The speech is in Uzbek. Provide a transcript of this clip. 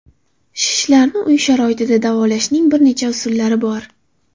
Shishlarni uy sharoitida davolashning bir nechta usullari bor.